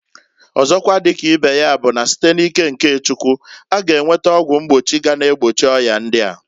Ọzokwa di ka ibe ya bu na site n'ike nke Chukwu, a ga enweta ọgwụ mgbochi ga na-egbochi oya ndia.